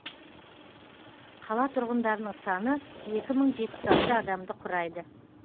қала тұрғындарының саны екі мың жетпіс алты адамды құрайды